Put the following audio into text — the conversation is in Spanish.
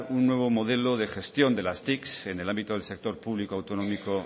un nuevo modelo de gestión de las tic en el ámbito del sector público autonómico